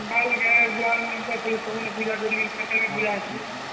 ସବୁନ ପୂଜା କରିକି ଅଛି